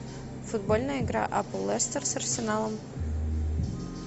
футбольная игра апл лестер с арсеналом